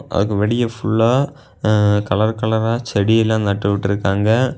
அதுக்கு வெளிய ஃபுல்லா கலர் கலரா செடி எல்லா நட்டு விட்ருக்காங்க.